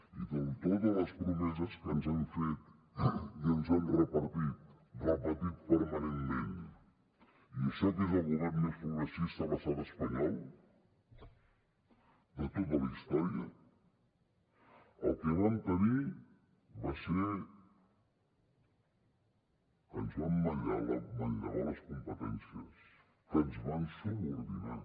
i amb totes les promeses que ens han fet i que ens han repetit permanentment i això que és el govern més progressista a l’estat espanyol de tota la història el que vam tenir va ser que ens van manllevar les competències que ens van subordinar